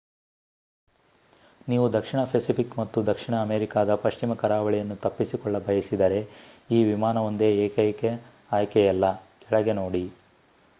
ನೀವು ದಕ್ಷಿಣ ಪೆಸಿಫಿಕ್ ಮತ್ತು ದಕ್ಷಿಣ ಅಮೆರಿಕಾದ ಪಶ್ಚಿಮ ಕರಾವಳಿಯನ್ನು ತಪ್ಪಿಸಿಕೊಳ್ಳ ಬಯಸಿದರೆ ಈ ವಿಮಾನವೊಂದೇ ಏಕೈಕ ಆಯ್ಕೆಯಲ್ಲ. ಕೆಳಗೆ ನೋಡಿ